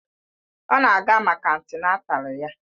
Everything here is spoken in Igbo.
Ọ na-aga maka antịnátál ya